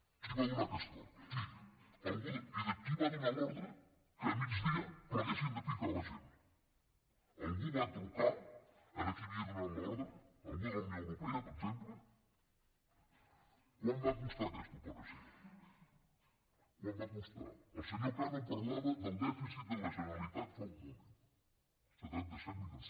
qui va donar aquesta ordre qui i qui va donar l’ordre que al migdia pleguessin de picar la gent algú va trucar a qui havia donat l’ordre algú de la unió europea per exemple quant va costar aquesta operació quant va costar el senyor cano parlava del dèficit de la generalitat fa un moment setanta set milions